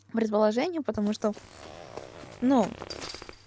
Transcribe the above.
предложение потому что ну